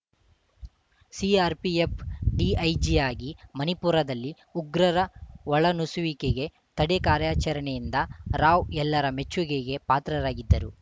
CRPF ಡಿಐಜಿಯಾಗಿ ಮಣಿಪುರದಲ್ಲಿ ಉಗ್ರರ ಒಳನುಸುವಿಕೆ ತಡೆ ಕಾರ್ಯಾಚರಣೆಯಿಂದ ರಾವ್‌ ಎಲ್ಲರ ಮೆಚ್ಚುಗೆಗೆ ಪಾತ್ರರಾಗಿದ್ದರು